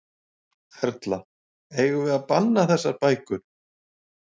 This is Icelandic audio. Erla: Eigum við að banna þessar bækur?